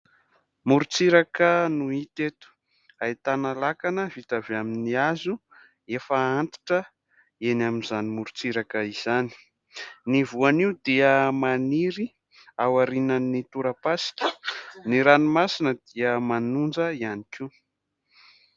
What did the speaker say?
Moron-tsiraka no hita eto, ahitana lakana vita avy amin'ny hazo efa antitra eny amin'izany moron-tsiraka izany. Ny voanio dia maniry ao aorinan'ny torapasika. Ny ranomasina dia manonja ihany koa.